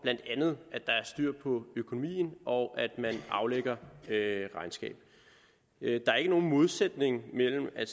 at der er styr på økonomien og at man aflægger regnskab der er ikke nogen modsætning mellem at